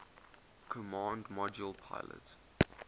command module pilot